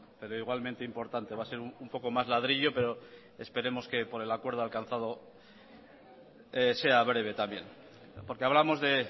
pero igualmente importante va a ser un poco más ladrillo pero esperemos que por el acuerdo alcanzado sea breve también porque hablamos de